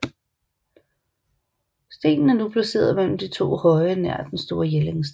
Stenen er nu placeret mellem de to høje nær Den store Jellingsten